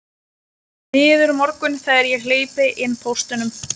Miður morgunn þegar ég hleypi inn póstinum.